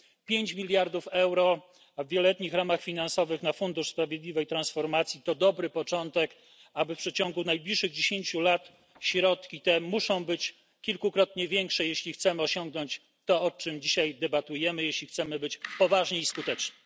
Pięć miliardów euro w wieloletnich ramach finansowych na Fundusz na rzecz Sprawiedliwej Transformacji to dobry początek, ale w przeciągu najbliższych dziesięciu lat środki te muszą być kilkukrotnie większe, jeśli chcemy osiągnąć to, o czym dzisiaj debatujemy, jeśli chcemy być poważni i skuteczni.